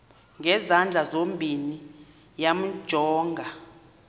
ngezandla zozibini yamjonga